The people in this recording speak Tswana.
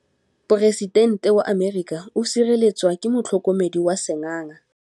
Poresitêntê wa Amerika o sireletswa ke motlhokomedi wa sengaga.